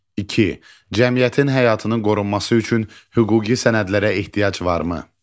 İki: Cəmiyyətin həyatının qorunması üçün hüquqi sənədlərə ehtiyac varmı?